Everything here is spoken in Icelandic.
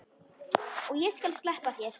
Og ég skal sleppa þér!